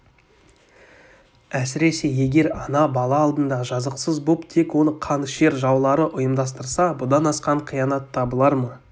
әсіресе егер ана бала алдында жазықсыз боп тек оны қанішер жаулары ұйымдастырса бұдан асқан қиянат табылар ма